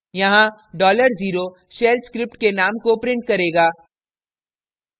यहाँ dollar zero shell script के name को print करेगा